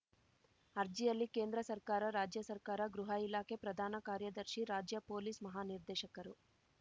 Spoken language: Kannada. ಅರ್ಜಿಯಲ್ಲಿ ಕೇಂದ್ರ ಸರ್ಕಾರ ರಾಜ್ಯ ಸರ್ಕಾರ ಗೃಹ ಇಲಾಖೆ ಪ್ರಧಾನ ಕಾರ್ಯದರ್ಶಿ ರಾಜ್ಯ ಪೊಲೀಸ್‌ ಮಹಾನಿರ್ದೇಶಕರು